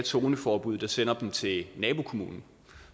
zoneforbud der sender dem til nabokommunen